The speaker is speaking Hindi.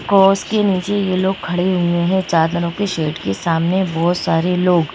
कॉस के नीचे यह लोग खड़े हुए हैं चादरों के शेट के सामने बहुत सारे लोग--